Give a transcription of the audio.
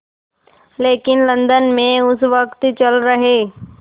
लेकिन लंदन में उस वक़्त चल रहे